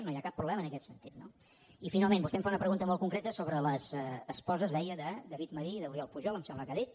no hi ha cap problema en aquest sentit no i finalment vostè em fa una pregunta molt concreta sobre les esposes deia de david madí i d’oriol pujol em sembla que ha dit